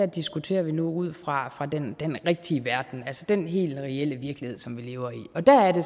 diskuterer vi nu ud fra den rigtige verden altså den helt reelle virkelighed som vi lever i og der er det